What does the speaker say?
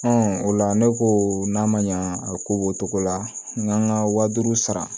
o la ne ko n'a ma ɲa a ko b'o cogo la n k'an ka wa duuru sara